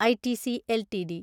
ITC LTD